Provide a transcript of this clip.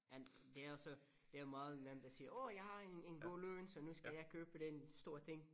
Men det også det er meget nemt at sige åh jeg har en en god løn så nu skal jeg købe den stor ting